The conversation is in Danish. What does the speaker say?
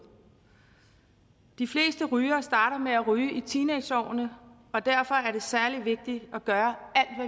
de fleste rygere starter med at ryge i teenageårene og derfor er det særlig vigtigt at børn